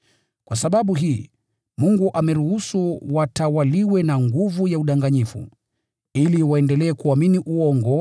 Kwa sababu hii, Mungu ameruhusu watawaliwe na nguvu ya udanganyifu, ili waendelee kuamini uongo,